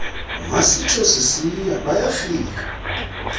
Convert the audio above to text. masitsho sisiya bayafika